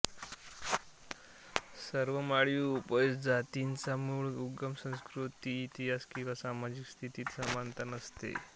सर्व माळी उपजातींचा मूळ उगम संस्कृती इतिहास किंवा सामाजिक स्थितीत समानता नसते